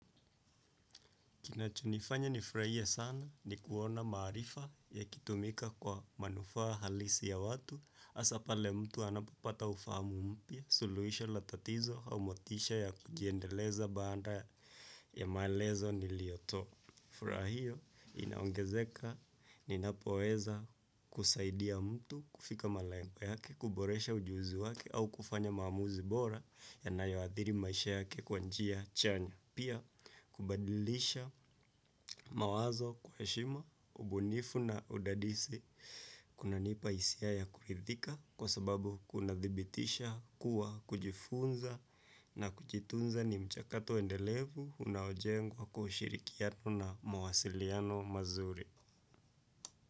Kinachonifanya nifurahie sana ni kuona maarifa yakitumika kwa manufaa halisi ya watu hasa pale mtu anapopata ufahamu mpya suluhisho ya tatizo au motisha ya kujiendeleza baada ya maelezo niliyotoa. Fura hiyo inaongezeka ninapoweza kusaidia mtu kufika malengo yake kuboresha ujuzi yake au kufanya maamuzi bora yanayoadhiri maisha yake kwa njia chanya. Pia kubadilisha mawazo kwa heshima, ubunifu na udadisi kunanipa hisia ya kuridhika kwa sababu kunadhibitisha kuwa kujifunza na kujitunza ni mchakato endelevu unaojengwa kwa ushirikiano na mawasiliano mazuri.